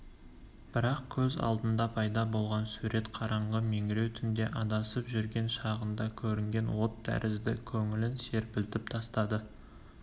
бірақ көз алдында пайда болған сурет қараңғы меңіреу түнде адасып жүрген шағында көрінген от тәрізді көңілін серпілтіп тастады